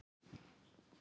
Þín Eva Karen.